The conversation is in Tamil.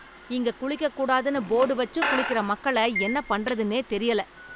இங்க குளிக்கக் கூடாதுன்னு போடு வச்சும் குளிக்கிற மக்கள என்னப் பண்றதுன்னே தெரியல.